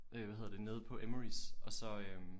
Øh hvad hedder det nede på Emmerys og så øh